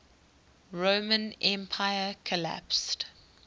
roman empire collapsed